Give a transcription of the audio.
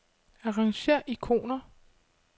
Arrangér ikoner.